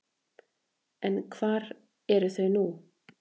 En hvar eru þau nú?